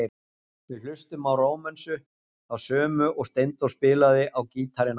Við hlustum á Rómönsu, þá sömu og Steindór spilaði á gítarinn áðan.